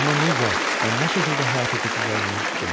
Amma necə, bə nə şəkildə həyata keçəcəyini bilmirdim.